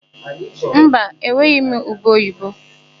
Mba, enweghị m ube oyibo.